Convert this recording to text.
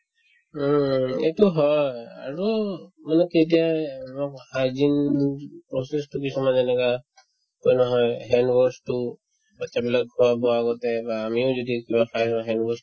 উম, এইটো হয় আৰু বোলো কেতিয়াই এইবাৰ hygiene process তো কিছুমান এনেকুৱা এই নহয় hand wash তো batches বিলাক খোৱা-বোৱাৰ আগতে বা আমিও যদি কিবা খাও হয় hand wash তো